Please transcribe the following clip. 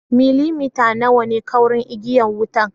Millimita nawa ne kaurin igiya wutar?